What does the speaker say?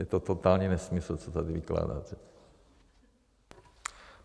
Je to totální nesmysl, co tady vykládáte.